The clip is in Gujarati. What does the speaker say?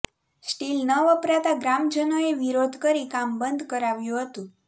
સ્ટીલ ન વપરાતાં ગ્રામજનોએ વિરોધ કરી કામ બંધ કરાવ્યુ હતું